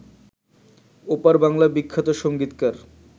ওপার বাংলার বিখ্যাত সংগীতকার